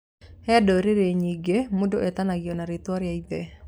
He ndũrĩrĩ nyingĩ, mũndũ etanagio na rĩtwa rĩa ithe.